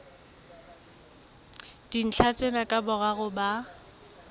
dintlha tsena ka boraro ba